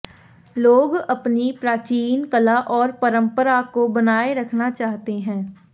लोग अपनी प्राचीन कला और परंपरा को बनाए रखना चाहते हैं